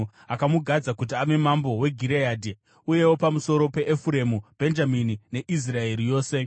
Akamugadza kuti ave mambo weGireadhi, Ashuri neJezireeri, uyewo pamusoro peEfuremu, Bhenjamini neIsraeri yose.